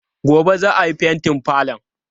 Gobe ​​za a yi fentin falon?